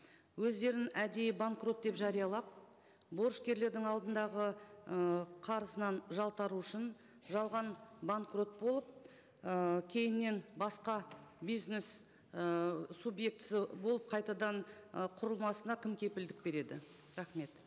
өздерін әдейі банкрот деп жариялап борышкерлердің алдындағы ы қарызынан жалтару үшін жалған банкрот болып ыыы кейіннен басқа бизнес ыыы субъектісі болып қайтадан ы құрылмасына кім кепілдік береді рахмет